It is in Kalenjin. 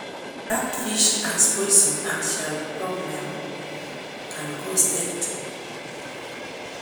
That fish has poison and small problem can cause death.